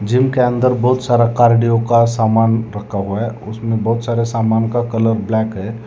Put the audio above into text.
Gym के अंदर बहुत सारा कार्डियो का सामान रखा हुआ है उसमें बहुत सारे सामान का कलर ब्लैक है।